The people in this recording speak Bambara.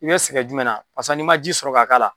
I be sɛgɛn jumɛn na barisa n'i ma ji sɔrɔ ka k'ala